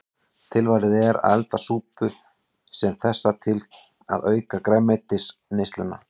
Tilvalið er að elda súpu sem þessa til að auka grænmetisneysluna.